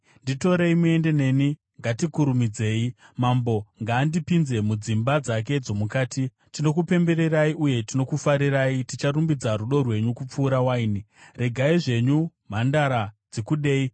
Nditorei muende neni, ngatikurumidzei. Mambo ngaandipinze mudzimba dzake dzomukati. Shamwari Tinokupembererai uye tinokufarirai; ticharumbidza rudo rwenyu kupfuura waini. Mukadzi Regai zvenyu mhandara dzikudei!